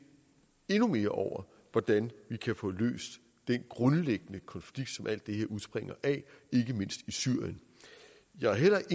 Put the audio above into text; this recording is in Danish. endnu mere over hvordan vi kan få løst den grundlæggende konflikt som alt det her udspringer af ikke mindst i syrien jeg har heller